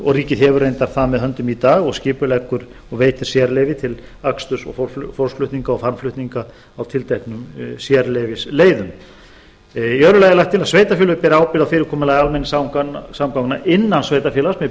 og ríkið hefur reyndar það með höndum í dag og veitir sérleyfi til aksturs og fólksflutninga og farmflutninga á tilteknum sérleyfisleiðum í öðru lagi er lagt til að sveitarfélög beri ábyrgð á fyrirkomulagi almenningssamgangna innan sveitarfélags með